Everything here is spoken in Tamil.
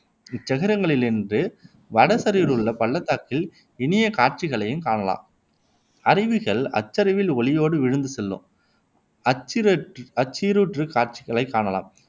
இச் சிகரங்களினின்று வட சரிவிலுள்ள பள்ளத்தாக்கின் இனிய காட்சிகளைக் காணலாம். அருவிகள் அச்சரிவில் ஒலியோடு விழுந்து செல்லும். அச்சிற்றாற்று காட்சிகளை காணலாம்